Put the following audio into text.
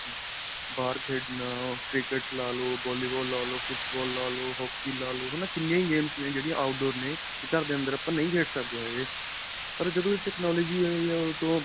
ਬਾਹਰ ਖੇਡਣਾ ਅਅ cricket ਲਾ ਲੋ, volleyball ਲਾ ਲੋ, ਫੁਟਬਾਲ ਲਾ ਲੋ, hockey ਲਾ ਲੋ, ਹੈ ਨਾ. ਕਿੰਨੀਆ games ਨੇ ਜਿਹੜੀਆਂ outdoor ਨੇ ਵੀ ਘਰ ਦੇ ਅੰਦਰ ਆਪਾਂ ਨਹੀਂ ਖੇਡ ਸਕਦੇ ਹੈਗੇ ਪਰ ਜਦੋ ਏਹ technology ਆਈ ਹੈ ਓਦੋ ਤੋਂ.